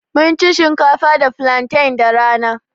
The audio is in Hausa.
Mun ci shinkafa da flantain da rana.